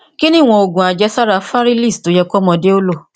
kí ni ìwọn òògun àjẹsára fárílíìsì tó yẹ kọmọdé ó lò